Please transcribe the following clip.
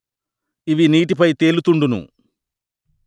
ఇవి నీటి పై తేలుతుండును